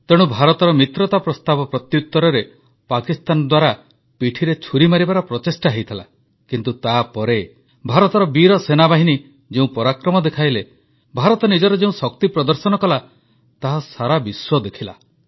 ତେଣୁ ଭାରତର ମିତ୍ରତା ପ୍ରସ୍ତାବ ପ୍ରତ୍ୟୁତରରେ ପାକିସ୍ତାନ ଦ୍ୱାରା ପିଠିରେ ଛୁରୀ ମାରିବାର ପ୍ରଚେଷ୍ଟା ହୋଇଥିଲା କିନ୍ତୁ ତାପରେ ଭାରତର ବୀର ସେନାବାହିନୀ ଯେଉଁ ପରାକ୍ରମ ଦେଖାଇଲେ ଭାରତ ନିଜର ଯେଉଁ ଶକ୍ତି ପ୍ରଦର୍ଶନ କଲା ତାହା ସାରା ବିଶ୍ୱ ଦେଖିଲା